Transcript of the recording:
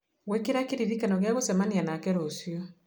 gwĩkĩra kĩririkano gĩa gũcemania nake rũciũ